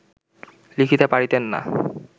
লিখিতে পারিতেন না